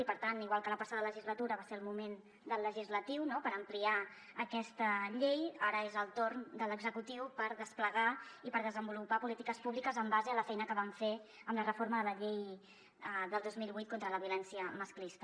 i per tant igual que la passada legislatura va ser el moment del legislatiu no per ampliar aquesta llei ara és el torn de l’executiu per desplegar i per desenvolupar polítiques públiques en base a la feina que vam fer amb la reforma de la llei del dos mil vuit contra la violència masclista